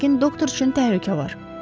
Yəqin doktor üçün təhlükə var.